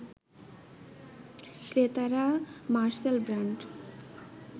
ক্রেতারা Marcel brand